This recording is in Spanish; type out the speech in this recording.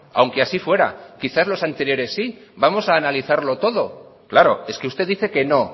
aunque así fuera quizás los anteriores sí vamos a analizarlo todo claro es que usted dice que no